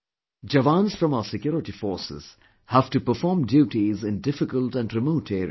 Jawans from our security forces have to perform duties in difficult and remote areas